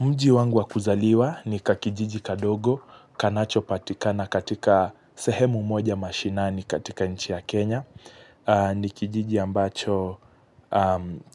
Mji wangu wa kuzaliwa ni kakijiji kadogo, kanacho patikana katika sehemu moja mashinani katika nchi ya Kenya. Ni kijiji ambacho